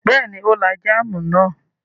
Bẹ́ẹ̀ ni, ó lá jáámù náà.